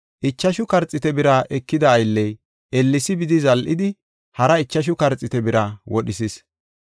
Ichashu karxiite bira ekida aylley ellesi bidi zal7idi, hara ichashu karxiite bira wodhisis.